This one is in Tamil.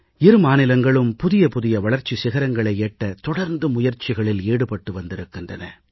இரு மாநிலங்களும் புதிய புதிய வளர்ச்சி சிகரங்களை எட்ட தொடர்ந்து முயற்சிகளில் ஈடுபட்டு வந்திருக்கின்றன